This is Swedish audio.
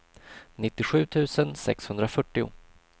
nittiosju tusen sexhundrafyrtio